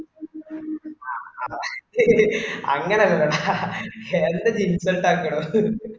He അങ്ങനെ അല്ലടാ എന്റെ jeans belt ആക്കണോന്ന്.